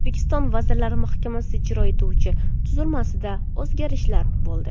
O‘zbekiston Vazirlar Mahkamasi ijro etuvchi tuzilmasida o‘zgarishlar bo‘ldi.